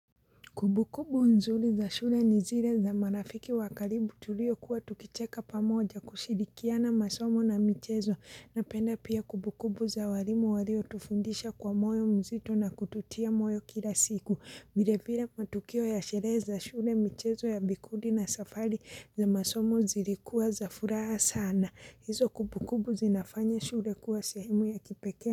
Kumbukumbu nzuri za shule ni zile za marafiki wa karibu tuliokuwa tukicheka pamoja kushirikiana masomo na michezo napenda pia kumbukumbu za walimu waliotufundisha kwa moyo mzito na kututia moyo kila siku. Vilevile matukio ya sherehe za shule michezo ya vikundi na safari za masomo zilikuwa za furaha sana. Hizo kumbukumbu zinafanya shule kuwa sehemu ya kipekee.